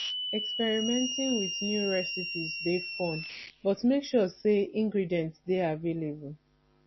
experimenting with new recipes dey fun but make sure say ingredients dey available